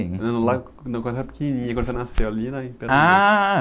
Lá, quando, quando você era pequenininha, quando você nasceu ali na ...h...